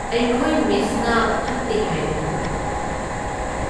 ꯑꯩꯈꯣꯏ ꯃꯤꯁꯅ ꯐꯠꯇꯦ ꯍꯥꯏꯕꯅꯤ꯫